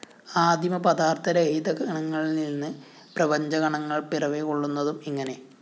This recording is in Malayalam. ആദിമ പദാര്‍ത്ഥരഹിത കണങ്ങളില്‍നിന്ന് പ്രപഞ്ചകണങ്ങള്‍ പിറവികൊള്ളുന്നതും ഇങ്ങനെ